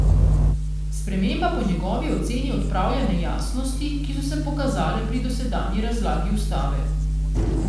Sprememba po njegovi oceni odpravlja nejasnosti, ki so se pokazale pri dosedanji razlagi ustave.